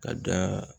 Ka da